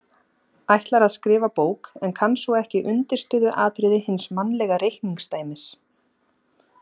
Ætlar að skrifa bók en kann svo ekki undirstöðuatriði hins mannlega reikningsdæmis.